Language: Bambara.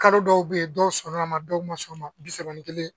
Kalo dɔw bɛyi dɔw sɔnna a ma dɔw ma sɔn ma bi saba ni kelen.